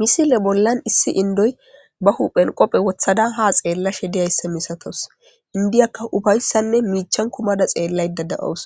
Misile bollan issi indoy ba hu phen qophe wothadan ha xeella she deyayssa misatos indiyakka ufayssanne miichan kumada xeellay da da7owus